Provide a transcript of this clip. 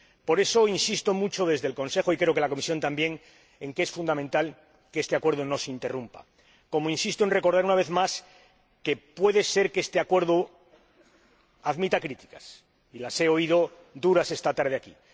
Por eso insisto mucho desde el Consejo ─y creo que la Comisión también está de acuerdo en que es fundamental─ en que este Acuerdo no se interrumpa, como insisto en recordar, una vez más, en que puede ser que este Acuerdo admita críticas y las he oído duras esta tarde aquí.